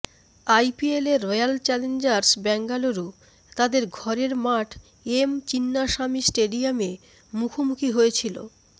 আইপিএলে Royal Challengers Bengaluru তাদের ঘরের মাঠ এম চিন্নাস্বামী স্টেডিয়ামে মুখোমুখি হয়েছিল